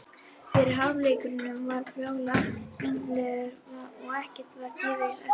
Fyrri hálfleikurinn var bráð skemmtilegur og ekkert var gefið eftir.